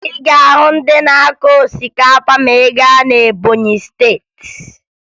Ị ga-ahụ ndị na-akụ osikapa ma ị gaa na Ebọnyị Steeti